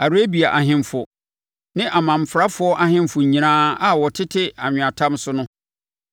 Arabia ahemfo ne amanfrafoɔ ahemfo nyinaa a wɔtete anweatam so no.